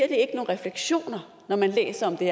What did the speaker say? ikke nogen refleksioner når man læser om det